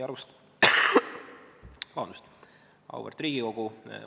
Auväärt Riigikogu!